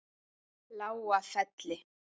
Lágafelli